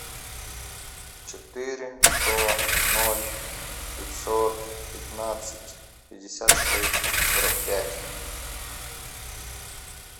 четыре сто ноль пятьсот пятнадцать пятьдесят шесть сорок пять